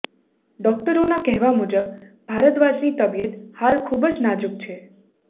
ડોક્ટરોના કહેવા મુજબ ભારદ્વાજની તબિયત હાલ ખુબ જ નાજુક છે